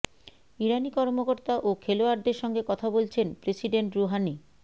ইরানি কর্মকর্তা ও খেলোয়াড়দের সঙ্গে কথা বলছেন প্রেসিডেন্ট রুহানি